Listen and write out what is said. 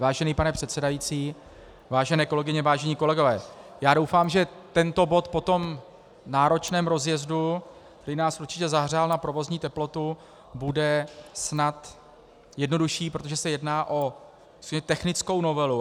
Vážený pane předsedající, vážené kolegyně, vážení kolegové, já doufám, že tento bod po tom náročném rozjezdu, který nás určitě zahřál na provozní teplotu, bude snad jednodušší, protože se jedná o technickou novelu.